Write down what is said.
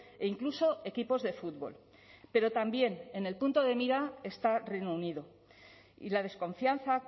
e incluso equipos de fútbol pero también en el punto de mira está reino unido y la desconfianza